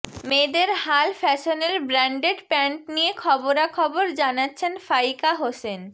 মেয়েদের হাল ফ্যাশানের ব্র্যান্ডেড প্যান্ট নিয়ে খবরাখবর জানাচ্ছেন ফাইকা হোসেন